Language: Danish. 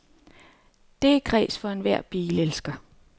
Det er kræs for enhver bilelsker.